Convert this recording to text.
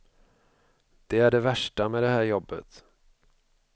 Det är det värsta med det här jobbet.